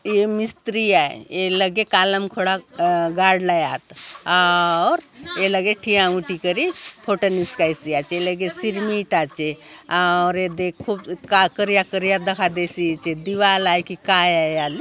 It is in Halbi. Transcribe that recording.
ये मिस्त्री आय ए लगे कॉलम खोड़ा गाड़लाय आत आउर ये लगे ठिया उठी करी फोटो निसकाईसि आचेए लगे सिरमिट आचे आउर येदे करिया-करिया दखा देयसि आचे दीवार आय की काय आय आले।